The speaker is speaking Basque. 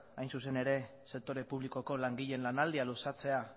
hain zuzen ere sektore publikoko langileen lanaldia luzatzea